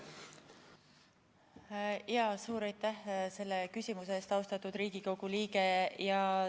Suur aitäh selle küsimuse eest, austatud Riigikogu liige!